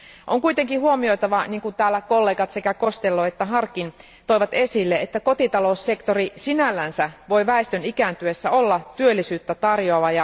On kuitenkin huomioitava, kuten kollegat Costello ja Harkin toivat esille, että kotitaloussektori sinällään voi väestön ikääntyessä olla työllisyyttä tarjoava.